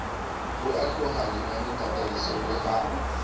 ho otloloha lenanetataisong la ho